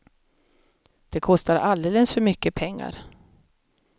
Det kostar alldeles för mycket pengar.